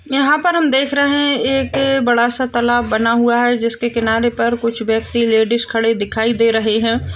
यहाँ पर हम देख रहे हैं एक बड़ा सा तालाब बना हुआ है जिसके किनारे पर कुछ व्यक्ति लेडिश खड़े दिखाई दे रहे है।